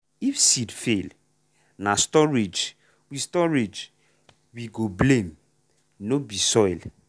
if seed fail na storage we storage we go blame — no be soil.